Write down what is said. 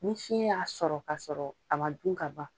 Ni fiɲɛ y'a sɔrɔ ka sɔrɔ a ma dun ka ban.